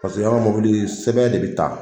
Paseke an ka mɔbili sɛbɛn de bi ta.